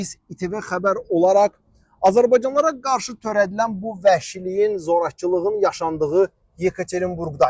Biz ITV xəbər olaraq azərbaycanlılara qarşı törədilən bu vəhşiliyin, zorakılığın yaşandığı Yekaterinburqdayıq.